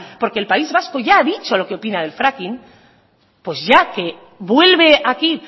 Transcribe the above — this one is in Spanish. porque el país vasco ya ha dicho lo que opina del fracking pues ya que vuelve aquí